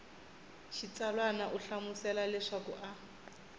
xitsalwana u hlamusela leswaku a